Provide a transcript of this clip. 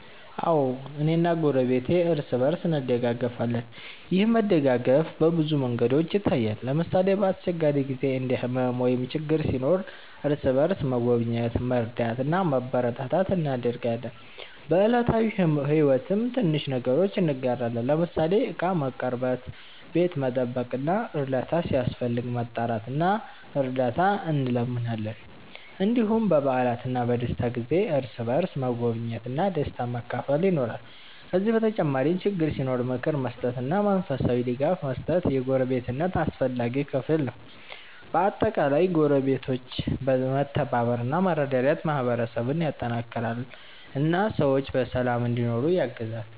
አዎ፣ እኔና ጎረቤቴ እርስ በእርስ እንደጋገፋለን። ይህ መደጋገፍ በብዙ መንገዶች ይታያል። ለምሳሌ፣ በአስቸጋሪ ጊዜ እንደ ሕመም ወይም ችግር ሲኖር እርስ በእርስ መጎብኘት፣ መርዳት እና ማበረታታት እናደርጋለን። በዕለታዊ ሕይወትም ትንሽ ነገሮችን እንጋራለን፤ ለምሳሌ ዕቃ መቀርበት፣ ቤት መጠበቅ ወይም እርዳታ ሲያስፈልግ መጣራት እና እርዳት እንለምናለን። እንዲሁም በበዓላትና በደስታ ጊዜ እርስ በእርስ መጎብኘት እና ደስታን መካፈል ይኖራል። ከዚህ በተጨማሪ ችግር ሲኖር ምክር መስጠትና መንፈሳዊ ድጋፍ መስጠት የጎረቤትነት አስፈላጊ ክፍል ነው። በአጠቃላይ ጎረቤቶች መተባበር እና መረዳዳት ማህበረሰብን ያጠናክራል እና ሰዎች በሰላም እንዲኖሩ ያግዛል።